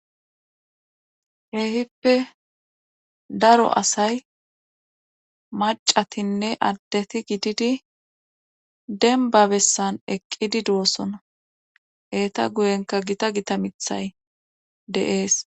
Keehippe daro asay macatinne addeti gididi denba bessan eqqidi doossona eeta guyenka gita gita mithay de7ees.